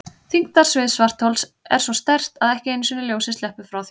Þyngdarsvið svarthols er svo sterkt að ekki einu sinni ljósið sleppur frá því.